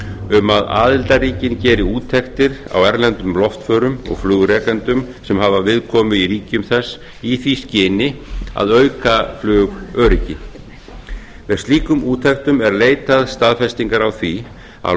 um að aðildarríkin geri úttektir á erlendum loftförum og flugrekendum sem hafa viðkomu í ríkjum þess í því skyni að auka flugöryggi með slíkum úttektum er leitað staðfestingar á því að